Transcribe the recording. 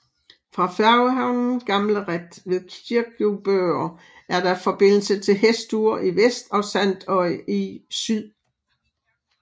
Fra færgehavnen Gamlarætt ved Kirkjubøur er der forbindelse til Hestur i vest og Sandoy i syd